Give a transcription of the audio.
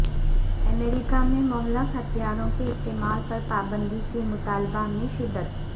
امریکہ میں مہلک ہتھیاروں کے استعمال پر پابندی کے مطالبہ میں شدت